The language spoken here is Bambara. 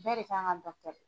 Bɛɛ de kan ka dɔ kɛ!